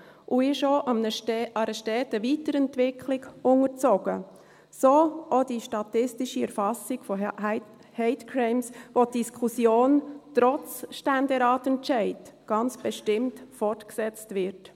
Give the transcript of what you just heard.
Er ist auch einer steten Weiterentwicklung unterzogen, so auch die statistische Erfassung von Hate Crimes, bei denen die Diskussion trotz Ständeratsentscheid ganz bestimmt fortgesetzt wird.